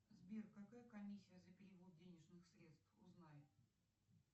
сбер какая комиссия за перевод денежных средств узнай